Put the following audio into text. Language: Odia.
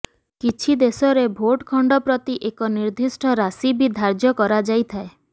କିଛି ଦେଶରେ ଭୋଟ ଖଣ୍ଡ ପ୍ରତି ଏକ ନିର୍ଦିଷ୍ଟ ରାଶି ବି ଧାର୍ୟ୍ୟ କରାଯାଇଥାଏ